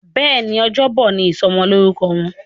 Béèni Ọjọ́ Bọ̀ ní ìsomo lórúko Wón.